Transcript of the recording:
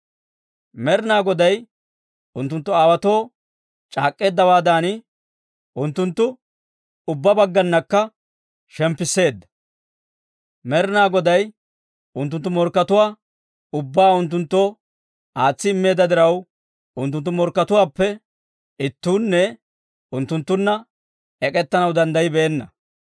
Med'ina Goday unttunttu aawaatoo c'aak'k'eeddawaadan, unttunttu ubbaa baggaanakka shemppisseedda. Med'ina Goday unttunttu morkkatuwaa ubbaa unttunttoo aatsi immeedda diraw, unttunttu morkkatuwaappe ittuunne unttunttunna ek'ettanaw danddayibeenna.